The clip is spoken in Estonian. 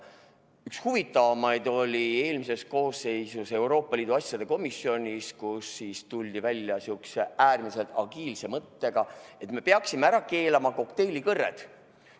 Üks huvitavamaid oli eelmises koosseisus Euroopa Liidu asjade komisjonis, kus tuldi välja sihukese äärmiselt agiilse mõttega, et me peaksime ära keelama kokteilikõrred.